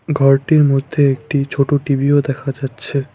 ঘরটির মধ্যে একটি ছোটো টিভিও দেখা যাচ্ছে।